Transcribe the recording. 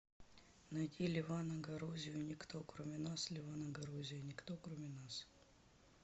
найди левана горозию никто кроме нас левана горозия никто кроме нас